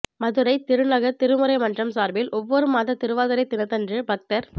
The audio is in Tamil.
மதுரை திருநகர் திருமுறை மன்றம் சார்பில் ஒவ்வொரு மாத திருவாதிரை தினத்தன்று பக்தர்